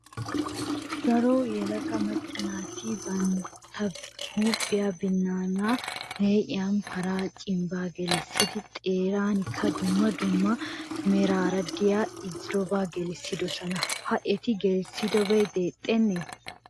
Daro yelaga macca naati bantta huuphiya binnaanaa lee'iyan paraa cimbbaa gelissidi xeerankka dumma dumma meraara diya irzzobaa gelisidosona. Ha eti gelisoogee deexxennee?